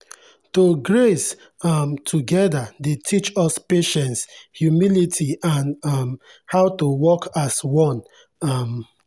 to graze um together dey teach us patience humility and um how to work as one. um